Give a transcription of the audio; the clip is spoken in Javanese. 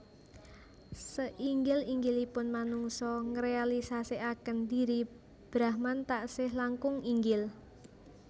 Seinggil inggilipun manungsa ngrealisasikaken dhiri Brahman taksih langkung inggil